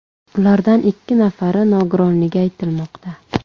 Ulardan ikki nafari nogironligi aytilmoqda.